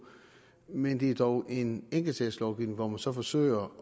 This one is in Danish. men det er dog en enkeltsagslovgivning hvor man så forsøger